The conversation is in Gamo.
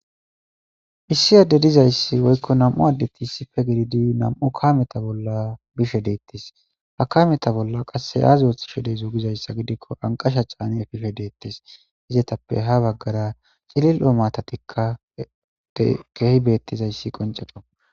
Issi adde dizayssi woykko nam7u addeti issippe gididi nam7u kameta bolla bishe deettes. Ha kaameta bolla qasse aazi ooththi she de7zo gidikko anqasha caani efishe deettes. Izetappe ha baggara cilil7o maatatikka keehi bettizayssi qoncekko.